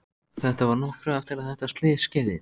Myrk, hvað er að frétta?